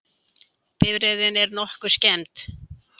Bifreiðin er nokkuð skemmd